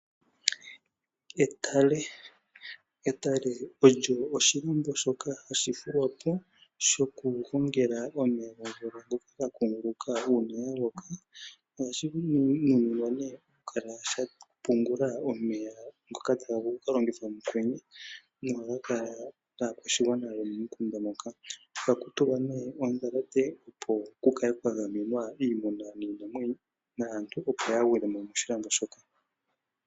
Etale Etale olyo oshilambo shoka hashi fulwa po shokugongela omeya gomvula ngoka ga kukunguluka uuna ya loka. Ohashi nuninwa okukala sha pungula omeya ngoka taga vulu oku ka longithwa mokwenye nohaga kala gaakwashigwana yomomukunda moka. Ohaku tulwa ondhalate, opo ku kale kwa gamwenwa iimuna, iinamwenyo naantu, opo yaa gwile mo moshilambo shoka.